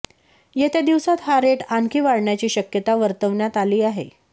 येत्या दिवसात हा रेट आणखी वाढण्याची शक्यता वर्तवण्यात आली आहे